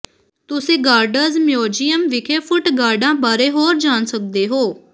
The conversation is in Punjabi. ਤੁਸੀਂ ਗਾਰਡਜ਼ ਮਿਊਜ਼ੀਅਮ ਵਿਖੇ ਫੁੱਟ ਗਾਰਡਾਂ ਬਾਰੇ ਹੋਰ ਜਾਣ ਸਕਦੇ ਹੋ